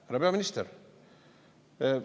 Härra peaminister!